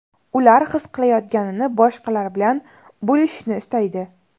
Ular his qilayotganini boshqalar bilan bo‘lishishni istaydi.